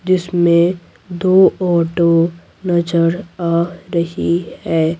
जिसमें दो ऑटो नजर आ रही है।